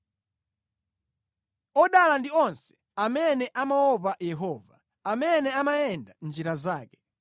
Odala ndi onse amene amaopa Yehova, amene amayenda mʼnjira zake.